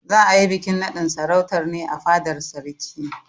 Za a yi bikin naɗin sarautar ne a fadar sarki.